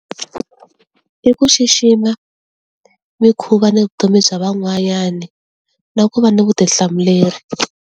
I ku xixima mikhuva ni vutomi bya van'wanyana na ku va ni vutihlamuleri.